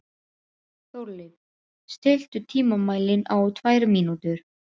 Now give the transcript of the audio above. Þórleif, stilltu tímamælinn á tvær mínútur.